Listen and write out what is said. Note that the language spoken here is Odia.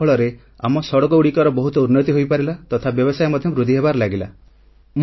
ଏହାଫଳରେ ଆମ ସଡ଼କଗୁଡ଼ିକର ବହୁତ ଉନ୍ନତି ହୋଇପାରିଲା ତଥା ବ୍ୟବସାୟ ମଧ୍ୟ ବୃଦ୍ଧି ହେବାରେ ଲାଗିଲା